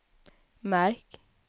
märk